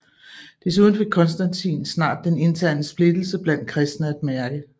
Desuden fik Konstantin snart den interne splittelse blandt kristne at mærke